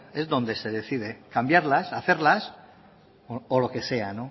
es donde se decide cambiarlas hacerlas o lo que sea